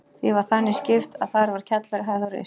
Því var þannig skipt að þar var kjallari, hæð og ris.